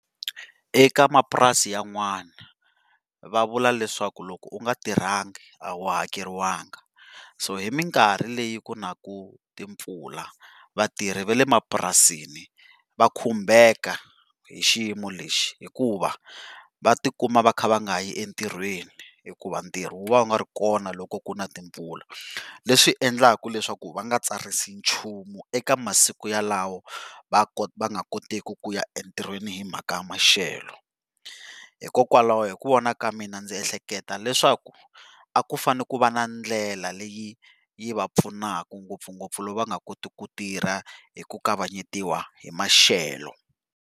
Eka mapurasi yan'wani va vula leswaku loko u nga tirhangi a wu hakeriwangi so hi mikarhi leyi ku naku timpfula vatirhi va lemapurasini va khumbeka hi xiyimo lexi, hikuva va tikuma va kha va nga yi entirhweni hikuva ntirho vu va u nga ri kona loko kuna timpfula. Leswi endlaku leswaku va nga tsarisi nchumu eka masiku yalawo va nga kotiki ku ya entirhweni hi mhaka maxelo, hikokwalaho hi ku vona ka mina ndzi ehleketa leswaku a ku fanele ku va na ndlela leyi yi va pfunaka ngopfungopfu loko va nga koti ku tirha hi ku kavanyetiwa hi maxelo.